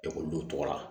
Ekɔlidenw tɔgɔ la